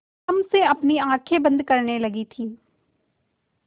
तम से अपनी आँखें बंद करने लगी थी